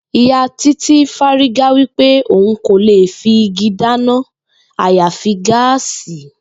Ìyá Titi fárígá wípé òun kò lè fi igi dáná àyàfi gáàsì